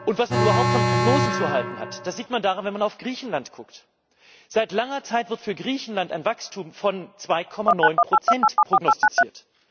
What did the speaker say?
Was man überhaupt von Prognosen zu halten hat, sieht man, wenn man auf Griechenland schaut Seit langer Zeit wird für Griechenland ein Wachstum von 2,9 prognostiziert.